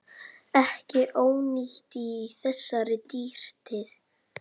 Ekki ónýtt í þessari dýrtíð.